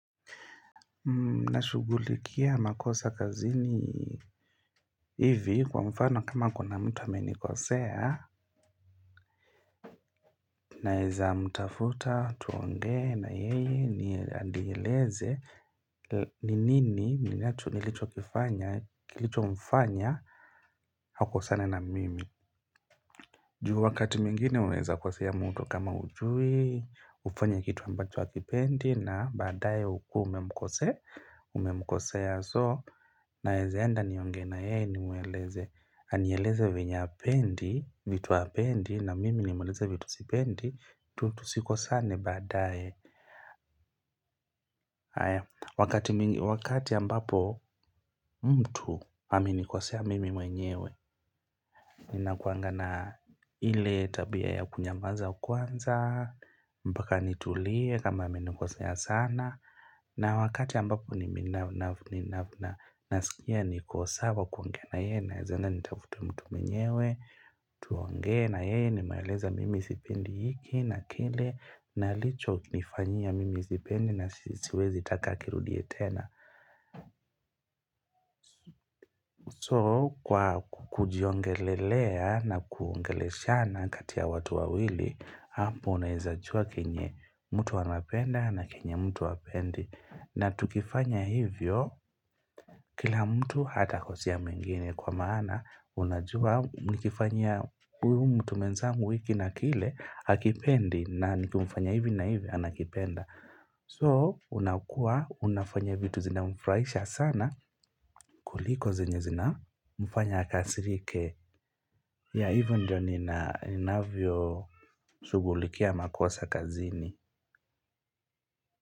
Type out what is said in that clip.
Na shugulikia makosa kazini. Ivi kwa mfano kama kuna mtu amenikosea Naeza mtafuta tuongee na yeye anieleze ni nini ninacho nilicho kifanya kilicho mfanya akosane na mimi juu wakati mwingine unaeza kosea mtu kama hujui, hufanya kitu ambacho hakipendi na baadaye ukue umemkosea, umemkosea so naezaenda nionge na yeye nimweleze, anieleze venye hapendi, vitu hapendi na mimi ni mweleze vitu sipendi, tusikosane baadaye. Wakati ambapo mtu amenikosea mimi mwenyewe Ninakuangana ile tabia ya kunyamaza kwanza mpaka nitulie kama amenikosea sana na wakati ambapo ni mimi nafuna Nasikia niko sawa kuongea na yeye naezaenda nitafute mtu mwenyewe tuongee na yeye nimweeleze mimi sipendi hiki na kile na alichonifanyia mimi sipendi nasiwezi taka akirudie tena. So, kwa kujiongelelea na kuongeleshana kati ya watu wawili, hapo unaezajua kenye mtu anapenda na kenye mtu hapendi. Na tukifanya hivyo, kila mtu hatakosea mwingine kwa maana, unajua nikifanyia uyu mtu mwenzangu hiki na kile hakipendi na nikimfanyia hivi na hivi anakipenda. So, unakuwa, unafanya vitu zinamfurahisha sana kuliko zenye zinamfanya akasirike. Ya, hivyo ndivyo ninavyoshughulikia makosa kazini.